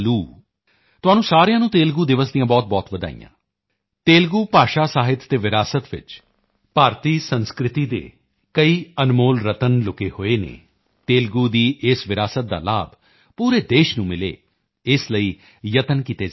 ਤੁਹਾਨੂੰ ਸਾਰਿਆਂ ਨੂੰ ਤੇਲੁਗੂ ਦਿਵਸ ਦੀਆਂ ਬਹੁਤਬਹੁਤ ਵਧਾਈਆਂ ਤੇਲੁਗੂ ਭਾਸ਼ਾ ਸਾਹਿਤ ਅਤੇ ਵਿਰਾਸਤ ਵਿੱਚ ਸੰਸਕ੍ਰਿਤ ਭਾਸ਼ਾ ਦੇ ਕਈ ਅਨਮੋਲ ਰਤਨ ਲੁਕੇ ਹੋਏ ਹਨ ਤੇਲੁਗੂ ਦੀ ਇਸ ਵਿਰਾਸਤ ਦਾ ਲਾਭ ਪੂਰੇ ਦੇਸ਼ ਨੂੰ ਮਿਲੇ ਇਸ ਲਈ ਕਈ ਯਤਨ ਕੀਤੇ ਜਾ ਰਹੇ ਹਨ